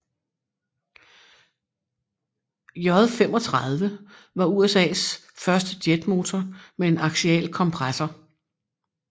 J35 var USAs første jetmotor med en aksial kompressor